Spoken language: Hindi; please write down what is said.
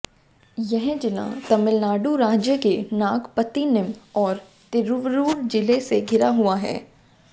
यह जिला तमिलनाडु राज्य के नागपत्तिनम और तिरूवरूर जिले से घिरा हुआ है